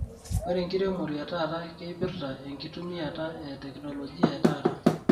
Ore enkiremore etata keipirta enkitumiata e teknolojia e tata.